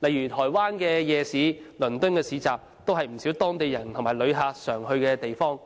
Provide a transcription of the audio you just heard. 例如台灣的夜市和倫敦的市集，都是不少當地人和旅客經常去的地方。